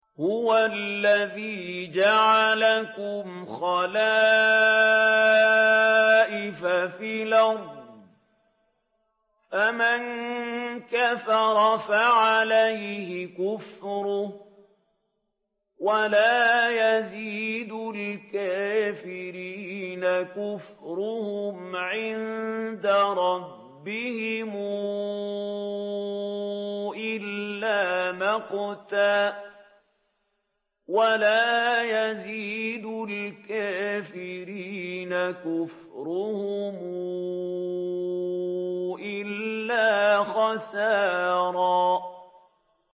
هُوَ الَّذِي جَعَلَكُمْ خَلَائِفَ فِي الْأَرْضِ ۚ فَمَن كَفَرَ فَعَلَيْهِ كُفْرُهُ ۖ وَلَا يَزِيدُ الْكَافِرِينَ كُفْرُهُمْ عِندَ رَبِّهِمْ إِلَّا مَقْتًا ۖ وَلَا يَزِيدُ الْكَافِرِينَ كُفْرُهُمْ إِلَّا خَسَارًا